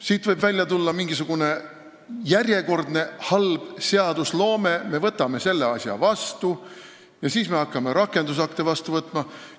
Siit võib järjekordne halva seadusloome näide välja tulla, et me võtame selle asja vastu ja hakkame alles siis rakendusakte vastu võtma.